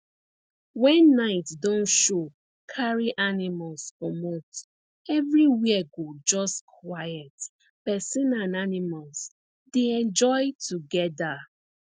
wen night don show carry animals comot everywhere go just quiet persin and animals dey enjoy together